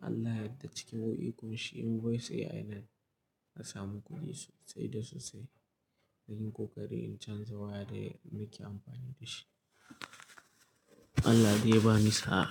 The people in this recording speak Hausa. Allah ya yarda cikin wani ikon shi in voice AI nan na samu kuɗi sosai da sosai. Na yi kokari in canza waya da nake amfani da shi. Allah dai ya ba ni sa'a.